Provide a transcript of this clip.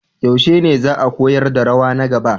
Yaushe ne za a koyar da rawa na gaba?